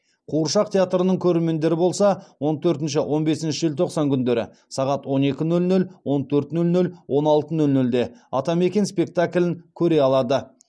қуыршақ театрының көрермендері болса он төртінші он бесінші желтоқсан күндері сағат он екі нөл нөл он төрт нөл нөл он алты нөл нөлде атамекен спектаклін көре алады